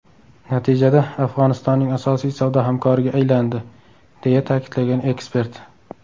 Natijada Afg‘onistonning asosiy savdo hamkoriga aylandi”, deya ta’kidlagan ekspert.